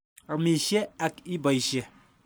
Amisye ak ipoisye.